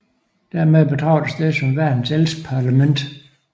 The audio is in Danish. Dermed betragtes det som verdens ældste parlament